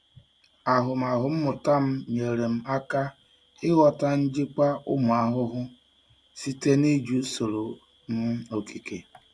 Ahụmahụ mmụta m nyeere m aka ịghọta njikwa ụmụ ahụhụ site na iji usoro um okike.